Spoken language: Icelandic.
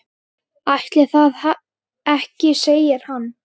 Ætli það ekki segir hann.